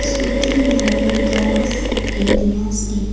சுத்தி நறைய grass areas இருக்--